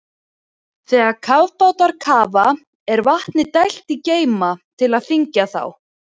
Þegar kafbátar kafa er vatni dælt í geyma til að þyngja þá.